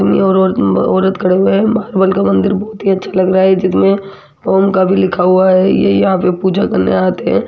भगवान का मंदिर बहुत ही अच्छा लग रहा है जिसमें ओम का भी लिखा हुआ है ये यहां पे पूजा करने आते है।